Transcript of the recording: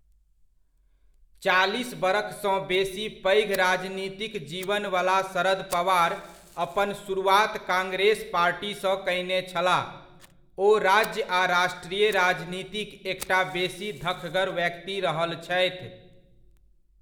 चालीस बरखसँ बेसी पैघ राजनीतिक जीवनवला शरद पवार अपन शुरुआत कांग्रेस पार्टीसँ कयने छलाह, ओ राज्य आ राष्ट्रीय राजनीतिक एकटा बेसी धखगर व्यक्ति रहल छथि।